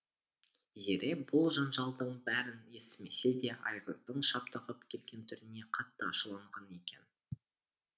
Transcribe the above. зере бұл жанжалдың бәрін естімесе де айғыздың шаптығып келген түріне қатты ашуланған екен